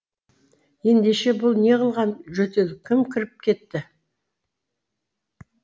ендеше бұл неғылған жөтел кім кіріп кетті